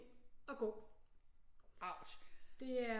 Og gå det er